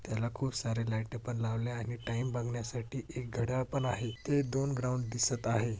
त्याला खूप सारे लायटे पण लावले आहे आणि टाइम बघण्यासाठी एक घड्याळ पण आहे ते दोन ग्राउंड दिसत आहे.